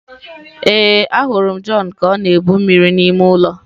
Ee, ahụrụ m John ka ọ na-ebu mmiri n'ime ụlọ.